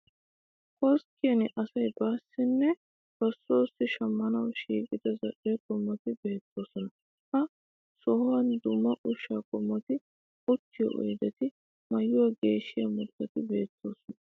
Koskkiyan asay baassinne ba soossi shammanawu shiiqida zal'e qommoti beettoosona. Ha sohuwan dumma ushshaa qommoti, uttiyo oyideti, maayuwa geeshshiya murutati beettoosona.